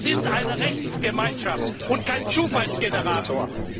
Wir sind eine Rechtsgemeinschaft und kein Zufallsgenerator.